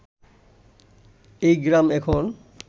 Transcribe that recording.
এই গ্রাম এখন